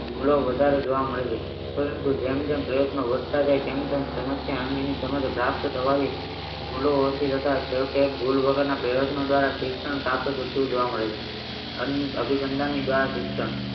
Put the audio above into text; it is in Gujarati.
ભૂલો જોવા મળે છે પરંતુ જેમ જેમ પ્રયત્નો વધતા જ ય તેમ તેમ ભૂલો ઓછી થતા તે ભૂલ વગરના પ્રયત્નો દ્વારા શિક્ષણ પ્રાપ્ત થતું જોવા મળ્યું અભિસંદનની બહાર શિક્ષણ